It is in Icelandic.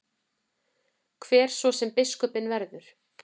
Hver svo sem biskupinn verður.